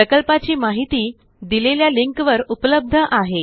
प्रकल्पाची माहिती दिलेल्या लिंकवर उपलब्ध आहे